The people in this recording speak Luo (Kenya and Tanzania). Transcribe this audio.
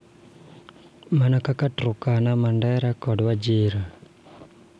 Mana kaka Turkana, Mandera, kod Wajir,